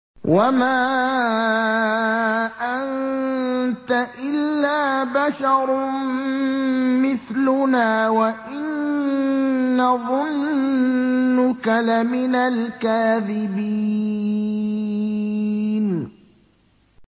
وَمَا أَنتَ إِلَّا بَشَرٌ مِّثْلُنَا وَإِن نَّظُنُّكَ لَمِنَ الْكَاذِبِينَ